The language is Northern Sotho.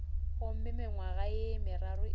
gomme mengwaga ye meraro e